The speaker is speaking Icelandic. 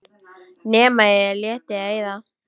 Nema ég léti eyða.